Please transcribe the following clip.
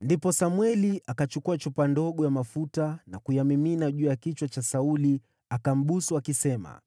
Ndipo Samweli akachukua chupa ndogo ya mafuta na kuyamimina juu ya kichwa cha Sauli, akambusu, akisema,